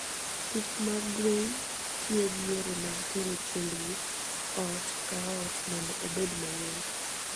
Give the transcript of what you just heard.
Pith mag gwen tiyo gi yore mag tero chiembgi ot ka ot mondo obed mayot.